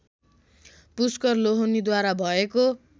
पुष्कर लोहनीद्वारा भएको